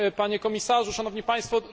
Panie Komisarzu! Szanowni Państwo!